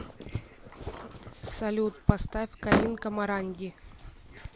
салют поставь калинка моранди